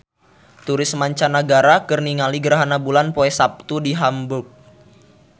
Turis mancanagara keur ningali gerhana bulan poe Saptu di Hamburg